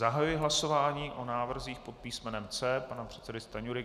Zahajuji hlasování o návrzích pod písmenem C pana předsedy Stanjury.